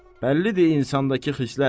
Bəllidir insandakı xislət.